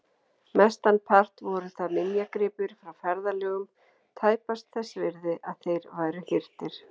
Mestan part voru það minjagripir frá ferðalögum, tæpast þess virði að þeir væru hirtir.